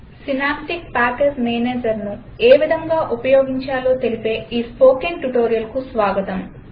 synaptic package managerను ఏ విధంగా ఉపయోగించాలో తెలిపే ఈ స్పోకెన్ ట్యుటోరియల్కు స్వాగతం